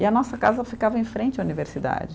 E a nossa casa ficava em frente à universidade.